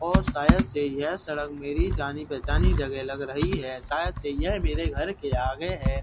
और शायद से यह सड़क मेरी जानी पहचानी जगह लग रही है शायद से यह मेरे घर के आगे है।